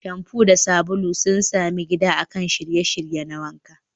Shamfu da sabulu sun sami gida akan shiryayye na wanka.